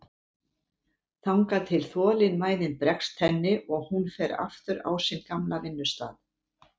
Þangað til þolinmæðin bregst henni og hún fer aftur á sinn gamla vinnustað.